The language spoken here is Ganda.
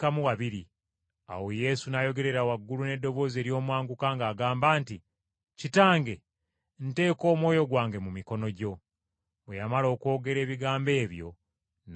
Awo Yesu n’ayogerera waggulu n’eddoboozi ery’omwanguka ng’agamba nti, “Kitange, nteeka omwoyo gwange mu mikono gyo.” Bwe yamala okwogera ebigambo ebyo, n’afa.